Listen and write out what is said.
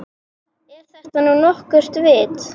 Er þetta nú nokkurt vit.